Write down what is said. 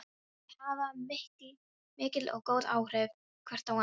Þau hafa mikil og góð áhrif hvort á annað.